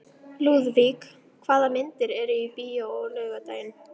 Lúðvík, hvaða myndir eru í bíó á laugardaginn?